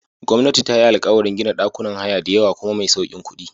Gwamnati tayi alkawarin gina ɗakunan haya diyawa kuma mai saukin kuɗi.